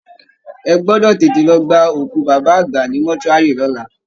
Ẹ gbọ́dọ̀ tètè lọ gba òkú baba àgbà ní mortuary lọ́la!